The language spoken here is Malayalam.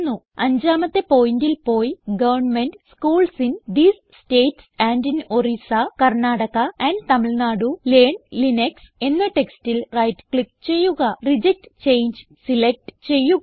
അഞ്ചാമത്തെ പോയിന്റൽ പോയി government schools in these states and in Orissa Karnataka and Tamil Nadu learn Linux എന്ന ടെക്സ്റ്റിൽ റൈറ്റ് ക്ലിക്ക് ചെയ്യുക റിജക്ട് ചങ്ങെ സിലക്റ്റ് ചെയ്യുക